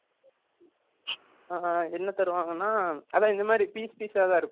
என்ன தருவாங்க நா அதான் இந்த மாரி piece piece ah இருக்கும்